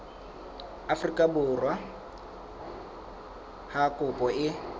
afrika borwa ha kopo e